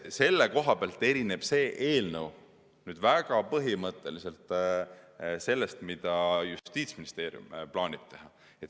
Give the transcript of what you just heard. Selle koha pealt erineb see eelnõu väga põhimõtteliselt sellest, mida Justiitsministeerium plaanib teha.